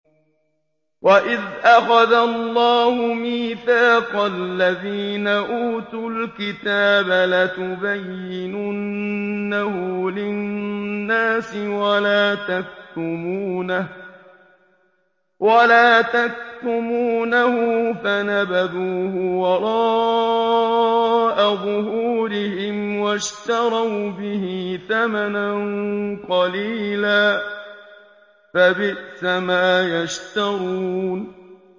وَإِذْ أَخَذَ اللَّهُ مِيثَاقَ الَّذِينَ أُوتُوا الْكِتَابَ لَتُبَيِّنُنَّهُ لِلنَّاسِ وَلَا تَكْتُمُونَهُ فَنَبَذُوهُ وَرَاءَ ظُهُورِهِمْ وَاشْتَرَوْا بِهِ ثَمَنًا قَلِيلًا ۖ فَبِئْسَ مَا يَشْتَرُونَ